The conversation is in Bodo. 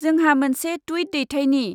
जोंहा मोनसे टुइट दैथायनि।